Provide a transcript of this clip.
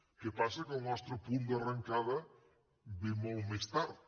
el que passa que el nostre punt d’arrencada ve molt més tard